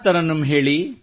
ತರನ್ನುಮ್ ಹೇಳಿ